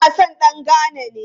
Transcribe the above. Dan wasan dan Ghana ne.